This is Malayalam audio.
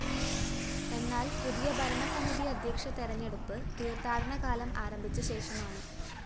എന്നാല്‍ പുതിയ ഭരണസമിതി അദ്ധ്യക്ഷ തെരഞ്ഞെടുപ്പ് തീര്‍ത്ഥാടനകാലം ആരംഭിച്ച ശേഷമാണ്